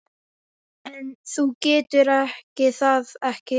En þú getur það ekki.